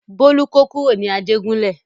Bólú kó kúrò ní Ajégúnlẹ̀.